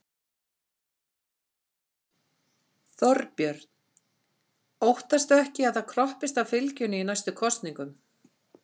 Þorbjörn: Óttastu ekki að það kroppist af fylginu í næstu kosningum?